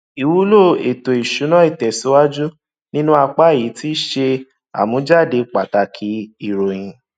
ìwúlò ètò ìsúná ìtẹsíwájù nínú apá yìí tí ṣe àmújáde pàtàkì ìròyìn